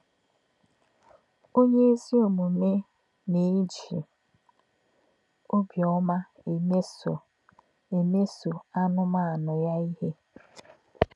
Ọ̀nyé̄ ézì ọ̀mùmè̄ nā̄-èjì̄ ọ̀bí̄ọ́má̄ èmèsò̄ èmèsò̄ ànù̄mànụ̄ yá̄ íhè̄.